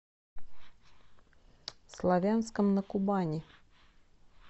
славянском на кубани